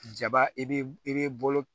Jaba i be i be bolo